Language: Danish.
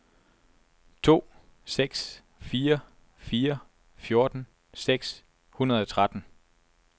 to seks fire fire fjorten seks hundrede og tretten